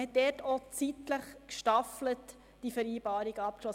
Man hat diese Vereinbarungen auch zeitlich gestaffelt abgeschlossen.